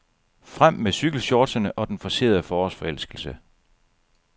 Frem med cykelshortsene og den forcerede forårsforelskelse.